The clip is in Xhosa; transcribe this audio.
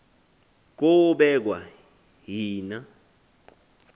kobekwa yhi na